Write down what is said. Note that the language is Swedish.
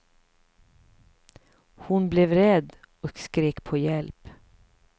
Hon blev rädd och skrek på hjälp.